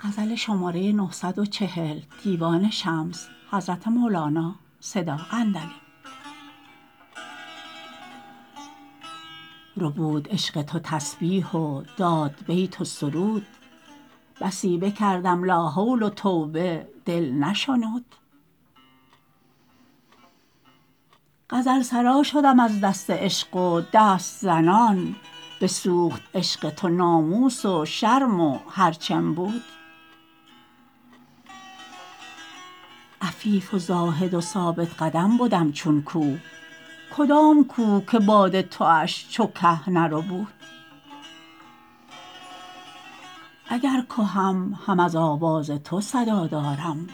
ربود عشق تو تسبیح و داد بیت و سرود بسی بکردم لاحول و توبه دل نشنود غزل سرا شدم از دست عشق و دست زنان بسوخت عشق تو ناموس و شرم و هر چم بود عفیف و زاهد و ثابت قدم بدم چون کوه کدام کوه که باد توش چو که نربود اگر کهم هم از آواز تو صدا دارم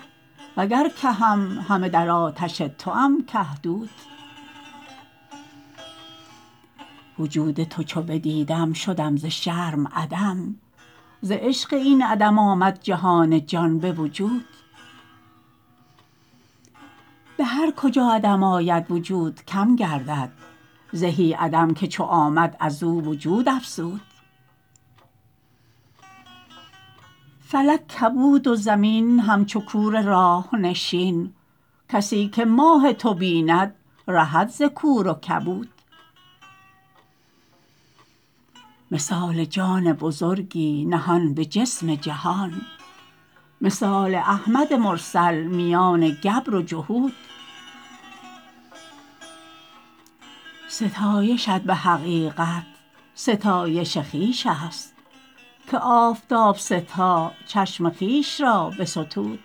وگر کهم همه در آتش توم که دود وجود تو چو بدیدم شدم ز شرم عدم ز عشق این عدم آمد جهان جان به وجود به هر کجا عدم آید وجود کم گردد زهی عدم که چو آمد از او وجود افزود فلک کبود و زمین همچو کور راه نشین کسی که ماه تو بیند رهد ز کور و کبود مثال جان بزرگی نهان به جسم جهان مثال احمد مرسل میان گبر و جهود ستایشت به حقیقت ستایش خویش است که آفتاب ستا چشم خویش را بستود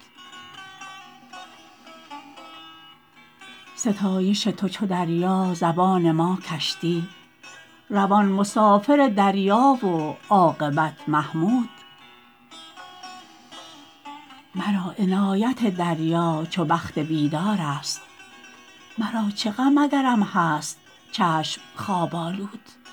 ستایش تو چو دریا زبان ما کشتی روان مسافر دریا و عاقبت محمود مرا عنایت دریا چو بخت بیدارست مرا چه غم اگرم هست چشم خواب آلود